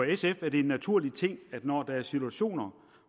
sf er det en naturlig ting at når der er situationer